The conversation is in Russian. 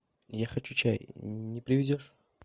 я хочу чай не привезешь